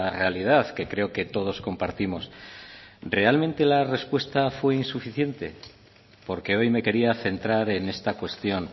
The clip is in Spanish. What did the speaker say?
realidad que creo que todos compartimos realmente la respuesta fue insuficiente porque hoy me quería centrar en esta cuestión